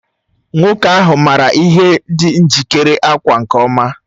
Nwoke ahụ maara ihe dị njikere ákwà nke ọma